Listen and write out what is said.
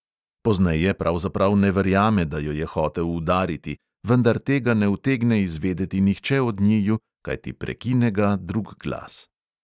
Pozneje pravzaprav ne verjame, da jo je hotel udariti, vendar tega ne utegne izvedeti nihče od njiju, kajti prekine ga drug glas.